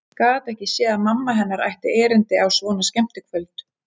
Gat ekki séð að mamma hennar ætti erindi á svona skemmtikvöld.